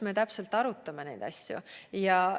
Me arutame neid asju põhjalikult.